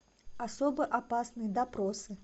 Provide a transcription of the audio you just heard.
особо опасны допросы